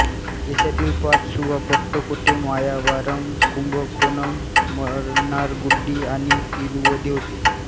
देशातील पाच सुबा पट्टुकोट्टै मायावारम कुंभकोणम मन्नारगुडी आणि तिरुवदी होते